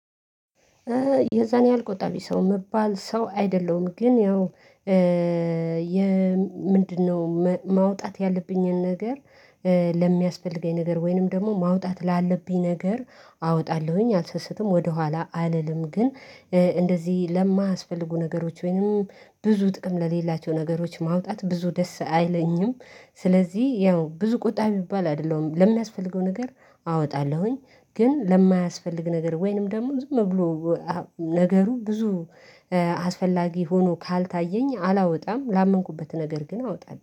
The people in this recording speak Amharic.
የዛን ያህል ቆጣቢ ሰው ምባል ሰው አይደለሁም፤ ግን ያው ምንድነው ማውጣት ያለብኝን ነገር ለሚያስፈልገኝ ነገር ወይንም ደግሞ ማውጣት ላለብኝ ነገር አወጣለሁኝ፤ አልሰስትም ወደኋላ አልልም፤ ግን እንደዚህ ለማያስፈልጉ ነገሮች ወይንም ብዙ ጥቅም ለሌላቸው ነገሮች ማውጣት ብዙ ደስ አይለኝም። ስለዚህ ያው ብዙ ቁጣቢ የሚባል አይደለም። ለምን ያስፈልገው ነገር አወጣለሁኝ ግን ለማያስፈልግ ነገር ወይንም ደግሞ ዝም ብሎ ነገሩ ብዙ አስፈላጊ ሆኖ ካልታየኝ አላወጣ፤ ላመንኩበት ነገር ግን አወጣለሁ።